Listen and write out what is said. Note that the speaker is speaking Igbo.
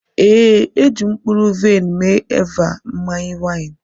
ee, e ji mkpụrụ vaịn mee Eva mmanya waini.